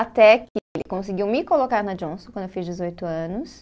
Até que conseguiu me colocar na Johnson, quando eu fiz dezoito anos.